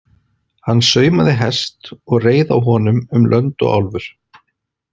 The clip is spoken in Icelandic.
Hann saumaði hest og reið á honum um lönd og álfur.